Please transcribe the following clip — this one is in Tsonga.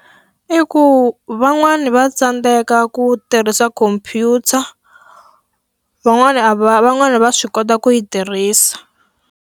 I ku van'wani va tsandzeka ku tirhisa khomphyuta, van'wana a va van'wana va swi kota ku yi tirhisa.